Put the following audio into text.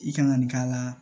I kan ka nin k'a la